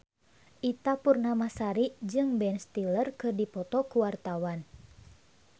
Ita Purnamasari jeung Ben Stiller keur dipoto ku wartawan